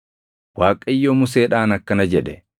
Waaqayyo Museedhaan akkana jedhe: